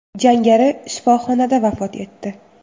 Jangari shifoxonada vafot etdi.